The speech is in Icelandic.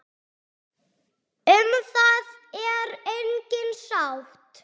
Um það er engin sátt.